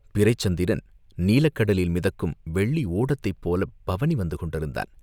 பிறைச் சந்திரன் நீலக் கடலில் மிதக்கும் வெள்ளி ஓடத்தைப் போலப் பவனி வந்து கொண்டிருந்தான்.